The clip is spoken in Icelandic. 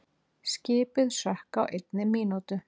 Skipið sökk á einni mínútu.